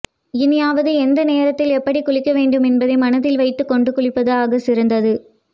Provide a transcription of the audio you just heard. இனியாவது எந்த நேரத்தில் எப்படி குளிக்க வேண்டும் என்பதை மனதில் வைத்துக் கொண்டு குளிப்பது ஆக சிறந்தது